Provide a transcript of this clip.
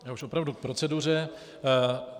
Já už opravdu k proceduře.